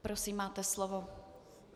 Prosím, máte slovo.